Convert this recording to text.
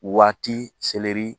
Waati seleri